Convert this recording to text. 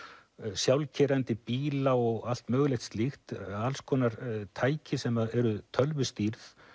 sjálfkeyrandi bíla og allt mögulegt alls konar tæki sem eru tölvustýrð